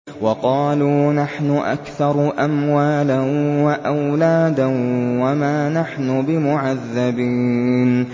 وَقَالُوا نَحْنُ أَكْثَرُ أَمْوَالًا وَأَوْلَادًا وَمَا نَحْنُ بِمُعَذَّبِينَ